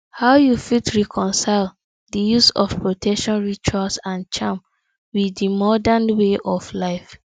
how you fit reconcile di use of protection rituals and charms with di modern way of life